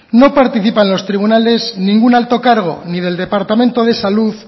no participa en los tribunales ningún alto cargo ni del departamento de salud